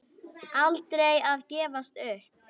Aldrei að gefast upp.